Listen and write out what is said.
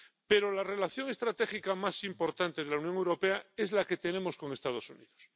Pero la relación estratégica más importante de la Unión Europea es la que tenemos con Estados Unidos.